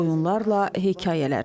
Oyunlarla, hekayələrlə.